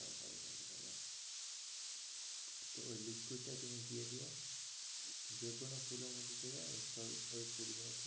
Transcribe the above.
তো ওই liquid টা তুমি দিয়েদিয়ো যে কোনো ফুলের মধ্যে দেবে সব ওই ফুল গুলো